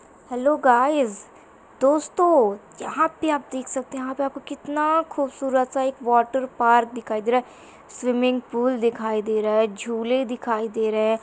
Hello guys दोस्तों यहाॅं पे आप देख सकते हैं यहाॅं पे आपको कितना खूबसूरत सा एक वाटर पार्क दिखाई दे रहा है स्विमिंग पूल दिखाई दे रहा है झूले दिखाई दे रहे हैं।